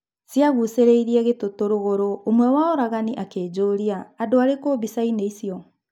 Ciagucĩrĩirĩ gĩtutu rũgũrũ, ũmwe wa oragani akĩnjũria 'andũ arĩkũ mbicaĩnĩ icio?'